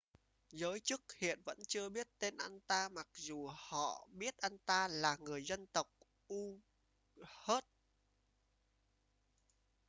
giới chức hiện vẫn chưa biết tên anh ta mặc dù họ biết anh ta là người dân tộc uighur